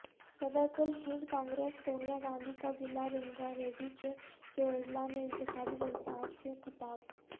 صدرکل Hind Congress Sonia Gandhi کاضلع رنگاریڈی کے چیوڑلہ میں انتخابی جلسہ عام سے خطاب